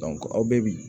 aw bɛ bi